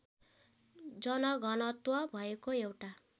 जनघनत्व भएको एउटा